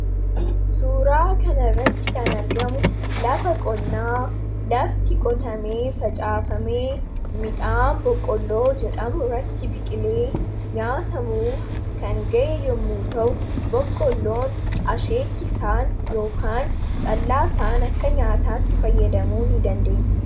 Suuraa kana irratti kan argamu lafa qonnaa lafti qotamee, facaafamee, midhaan boqqolloo jedhamu irratti biqilee nyaatamuuf kan ga’e yommuu ta'u boqqolloon asheeti isaan ykn callaa isaan akka nyaataatti fayyadamuu ni dandeenye.